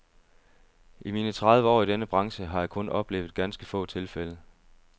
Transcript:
I mine tredive år i denne branche har jeg kun oplevet ganske få tilfælde.